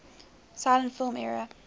silent film era